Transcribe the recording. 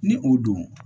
Ni o don